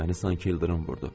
Məni sanki ildırım vurdu.